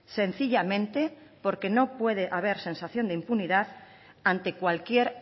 sencillamente porque no puede haber sensación de impunidad ante cualquier